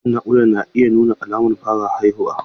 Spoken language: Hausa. Ciwon naƙuda yana nuna alamun fara haihuwa.